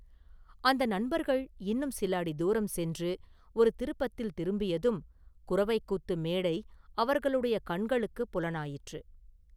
அந்த நண்பர்கள் இன்னும் சில அடி தூரம் சென்று ஒரு திருப்பத்தில் திரும்பியதும் குரவைக்கூத்து மேடை அவர்களுடைய கண்களுக்குப் புலனாயிற்று.